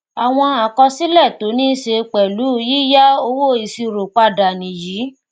àwọn àkọsílẹ tó ní í ṣe pẹlú yíya owóìṣírò padà nìyí